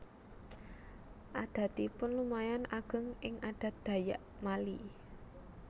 Adatipun lumayan ageng ing adat Dayak Mali